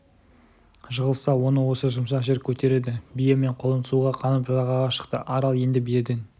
жығылса оны осы жұмсақ жер көтереді бие мен құлын суға қанып жағаға шықты арал енді биеден